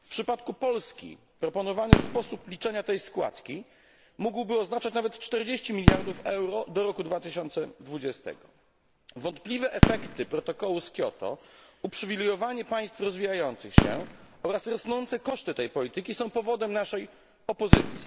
W przypadku Polski proponowany sposób liczenia tej składki mógłby oznaczać nawet 40 miliardów euro do roku 2020. Wątpliwe efekty protokołu z Kioto, uprzywilejowanie państw rozwijających się oraz rosnące koszty tej polityki są powodem naszej opozycji.